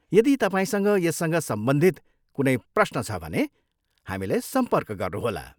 यदि तपाईँसँग यससँग सम्बन्धित कुनै प्रश्न छ भने हामीलाई सम्पर्क गर्नुहोला।